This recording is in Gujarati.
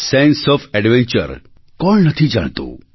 સેન્સે ઓએફ એડવેન્ચર કોણ નથી જાણતું